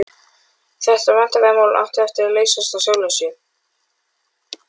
Þetta vandræðamál átti eftir að leysast af sjálfu sér.